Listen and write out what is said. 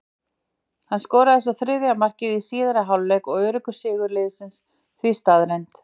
Hann skoraði svo þriðja markið í síðari hálfleik og öruggur sigur liðsins því staðreynd.